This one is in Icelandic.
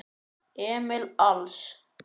Emil Als.